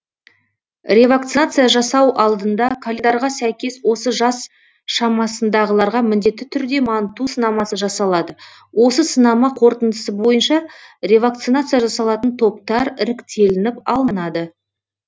ревакцинация жасау алдында календарға сәйкес осы жас шамасындағыларға міндетті түрде манту сынамасы жасалады осы сынама қорытындысы бойынша ревакцинация жасалатын топтар іріктелініп алынады